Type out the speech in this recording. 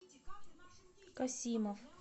касимов